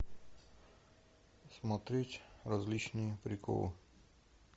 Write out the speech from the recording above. смотреть различные приколы